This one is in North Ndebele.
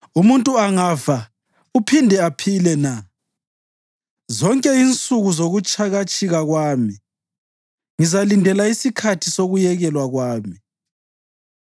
Umuntu angafa uphinde aphile na? Zonke insuku zokutshikatshika kwami ngizalindela isikhathi sokuyekelwa kwami.